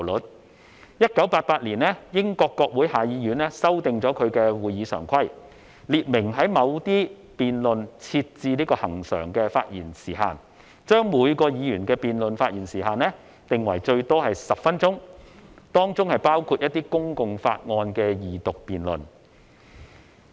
在1988年，英國國會下議院修訂其會議常規，列明在某些辯論設置恆常的發言時限，將每名議員的辯論發言時限定為最多10分鐘，當中包括一些公共法案的二讀辯論。